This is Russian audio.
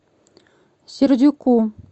сердюку